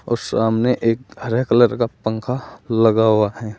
और सामने एक हरे कलर का पंखा लगा हुआ है।